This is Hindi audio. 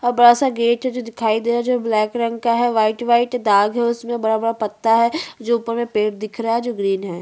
अब बड़ा सा गेट है जो दिखाई दे रहा है जो ब्लैक रंग का है व्हाईट व्हाईट दाग है उसमे बड़ा - बड़ा पत्ता है जो ऊपर मे पेड़ दिख रहा है जो ग्रीन है।